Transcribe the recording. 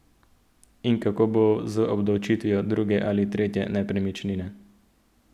In kako bo z obdavčitvijo druge ali tretje nepremičnine?